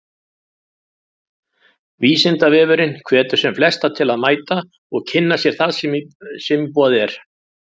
Vísindavefurinn hvetur sem flesta til að mæta og kynna sér það sem í boði er.